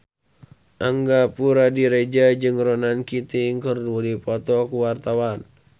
Angga Puradiredja jeung Ronan Keating keur dipoto ku wartawan